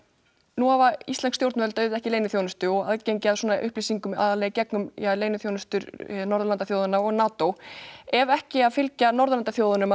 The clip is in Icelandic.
nú hafa íslensk stjórnvöld auðvitað ekki leyniþjónustu og aðgengi að svona upplýsingum aðallega í gegnum leyniþjónustur Norðurlandaþjóðanna og NATO ef ekki að fylgja Norðurlandaþjóðunum að